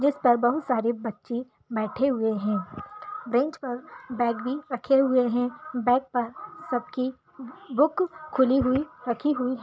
Bench पर बहुत सारे बच्चे बैठे हुए हैं बेंच पर बेग भी रखे हुए हैं बेग पर सबकी बुक खुली हुई रखी हुई है।